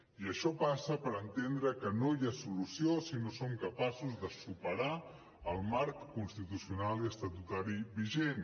i això passa per entendre que no hi ha solució si no som capaços de superar el marc constitucional i estatutari vigent